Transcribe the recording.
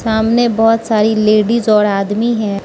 सामने बहोत सारी लेडिस और आदमी हैं।